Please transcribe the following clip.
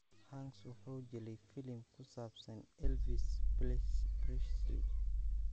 Hanks wuxuu jilay filim ku saabsan Elvis Presley.